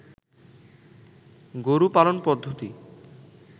গরু পালন পদ্ধতি